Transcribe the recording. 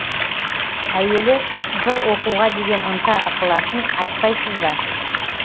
әуелі жыр оқуға деген ынта ықыласын айтпайсыз ба